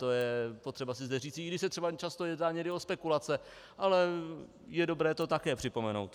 To je potřeba si zde říci, i když se třeba často jedná někdy o spekulace, ale je dobré to také připomenout.